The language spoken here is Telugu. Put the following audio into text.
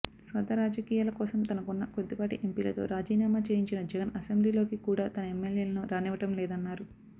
స్వార్థ రాజకీయాల కోసం తనకున్న కొద్దిపాటి ఎంపీలతో రాజీనామా చేయించిన జగన్ అసెంబ్లీలోకి కూడా తన ఎమ్మెల్యేలను రానివ్వడం లేదన్నారు